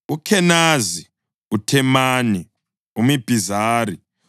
uKhenazi, uThemani, uMibhizari,